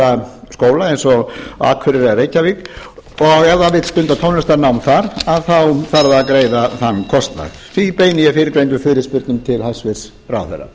eins og á akureyri eða reykjavík ef hann vill stunda tónlistarnám þar þá þarf hann að greiða þann kostnað því beini ég fyrrgreindum fyrirspurnum til hæstvirts ráðherra